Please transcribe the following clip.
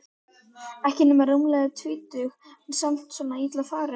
Ekki nema rúmlega tvítug en samt svona illa farin.